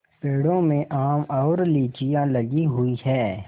पेड़ों में आम और लीचियाँ लगी हुई हैं